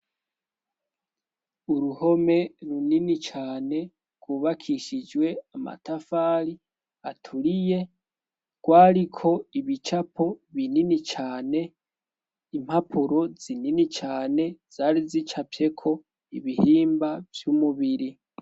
Uruhome runini cane rwubakishijwe amatafari aturiye rwariko ibicapo binini cane, impapuro zinini cane zari zicafyeko ibihimba vy'umubiri.